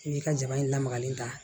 I b'i ka jaba in lamagalen ta